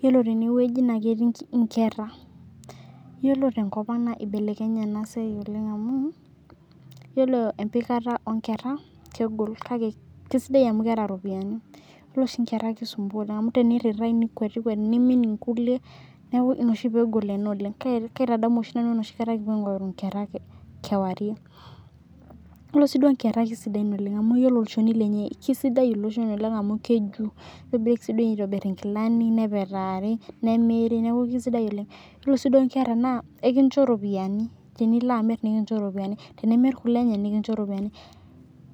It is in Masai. Yiolo tenewoji naa ketii inkera, yiolo tenkop ang' naa ibelekenye ena siai oleng' amu, yiolo embikata oonkera, kegol kake kaisidai amu keeta iropiyani. Yiolo oshi inkera kisumpua oleng' amu tenirrirae nikuet ikuet, niimin inkulie, neeku inia oshi peegol ena oleng'. Kaitadamu oshi nanu enoshikata kipuo aingorru inkerra kewarie. Yiolo sii duo inkerra kesidain oleng' amu iyiolo olchoni lenye kesidai ilo shoni oleng' amu keju. Nitobirieki sininye aitobirr inkilani , nepetaari, nemiri, kaisidai oleng'. Yiolo sii duo inkera naa ekincho iropiyani tenilo amir nikincho iropiyani. Tenimir kule enye nikincho iropiyani,